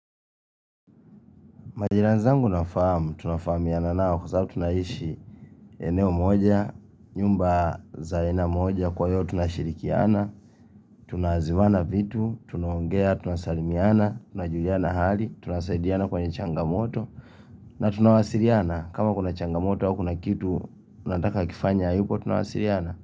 Majirani zangu nawafahamu, tuna fahamiana nao kwa sababu tunaishi eneo moja, nyumba za eneo moja kwa hiyo tunashirikiana, tunaziwana vitu, tunaongea, tunasalimiana, tunajuliana hali, tunasaidiana kwenye changamoto na tunawasiliana kama kuna changamoto au kuna kitu tunataka kifanywe yuko tunawasiliana.